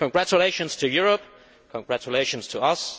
Congratulations to Europe, congratulations to us.